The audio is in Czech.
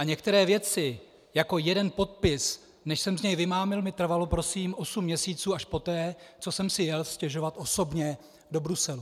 A některé věci, jako jeden podpis, než jsem z něj vymámil, mi trvalo, prosím, osm měsíců, až poté, co jsem si jel stěžovat osobně do Bruselu.